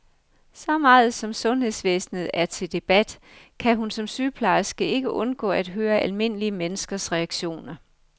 Så meget som sundhedsvæsenet er til debat, kan hun som sygeplejerske ikke undgå at høre almindelige menneskers reaktioner.